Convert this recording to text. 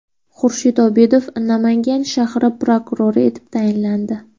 Xurshid Odilov Namangan shahri prokurori etib tayinlandi.